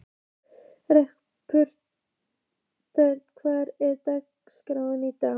Patrekur, hver er dagsetningin í dag?